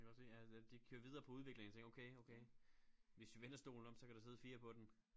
Det kan jeg godt se ja de kører videre på udviklingen og tænker okay okay hvis vi vender stolen om kan der sidde 4 på den